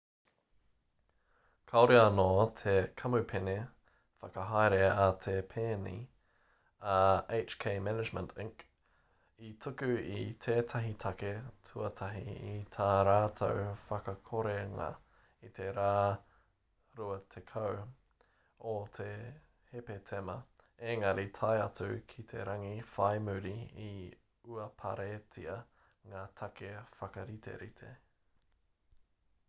kāore te kamupene whakahaere a te pēni a hk management inc i tuku i tētahi take tuatahi i tā rātou whakakorenga i te rā 20 o hepetema engari tae atu ki te rangi whai muri i uaparetia ngā take whakariterite